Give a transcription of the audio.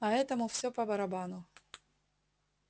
а этому всё по-барабану